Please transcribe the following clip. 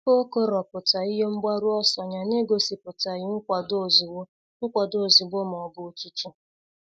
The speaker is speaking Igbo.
O kọrọpụta ihe mgbaru ọsọ ya n'egosipụtaghi nkwado ozugbo nkwado ozugbo ma ọ bụ otutu.